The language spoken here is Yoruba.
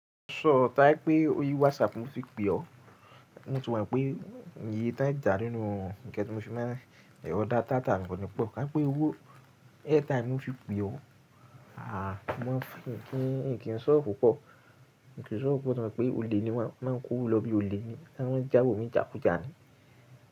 Sọ táí pé ó rí WhatsApp mo fi pé ọ, mo ti mo pé ìye ton jà nínú ǹkan tí mo fi máa ń rí, ọ dáta mi ko nì pọ̀. Ká n pé owó airtime ni mo fi pé ọ, à mo maa n, ní kí n sọ pupọ̀, n ki sọ rò pọ̀ ná pé ole ni won, máa ń kó òwo lọ bí ole ni, won máa jáwọ́ mi ni jàkújà ni.